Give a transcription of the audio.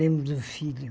Lembro do filho.